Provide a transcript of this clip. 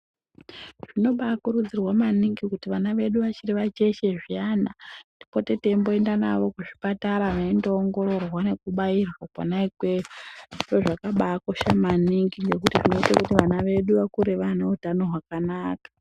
Zvinobaakurudzirwa maningi kuti vana vedu vachiri vacheche zviyani tipote teimboenda navo kuzvipatara veindoongororwa nekubairwa kona ikweyo .Zviro zvakabaakosha maningi ngekuti zvinoite kuti vana vedu vakure vaneutano hwakanaka.